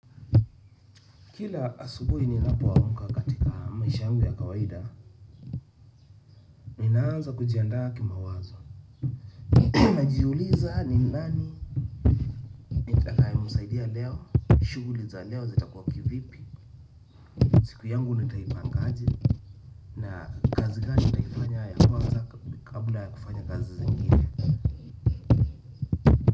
Kila asubuhi ninapoamka katika maisha yangu ya kawaida, ninaanza kujiandaa kimawazo. Najiuliza ni nani, nitakayemzaidia leo, shughuli za leo zetakuwa kivipi, siku yangu nitaipanga aje na kazi gani nitaifanya ya kwanza kabla ya kufanya kazi zingine.